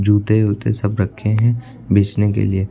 जूते उते सब रखे हैं बेचने के लिए।